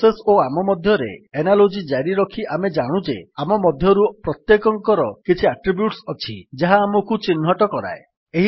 process ଓ ଆମ ମଧ୍ୟରେ ଏନାଲୋଜୀ ଜାରିରଖି ଆମେ ଜାଣୁ ଯେ ଆମ ମଧ୍ୟରୁ ପ୍ରତ୍ୟେକଙ୍କର କିଛି ଆଟ୍ରିବ୍ୟୁଟ୍ସ ଅଛି ଯାହା ଆମକୁ ଚିହ୍ନଟ କରାଏ